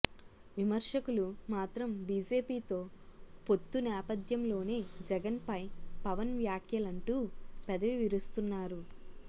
విమర్శకులు మాత్రం బీజేపీతో పొత్తు నేపథ్యంలోనే జగన్పై పవన్ వ్యాఖ్యలంటూ పెదవి విరుస్తున్నారు